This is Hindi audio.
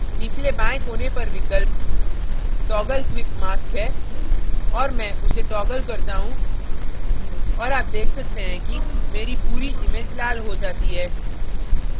निचले बाएं कोने पर विकल्प toggle quick mask है और मैं उसे toggle करता हूँ और आप देख सकते हैं कि मेरे पूरी image लाल हो जाती है